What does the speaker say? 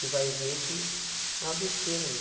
E vai ver que é uma besteira, meu.